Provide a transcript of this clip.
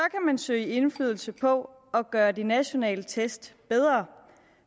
man søge indflydelse på at gøre de nationale test bedre